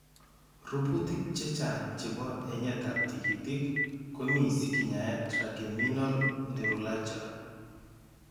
Rubutik che chang' chebo enyetab tikitik ko mi sikenyae trigeminal neuralgia.